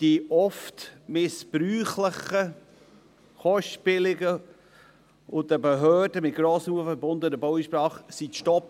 die oft missbräuchlichen, kostspieligen und für die Behörden mit grossem Aufwand verbundenen Baueinsprachen seien zu stoppen.